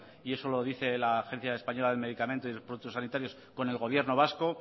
y eso lo dice la agencia española del medicamento y productos sanitarios con el gobierno vasco